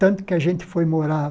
Tanto que a gente foi morar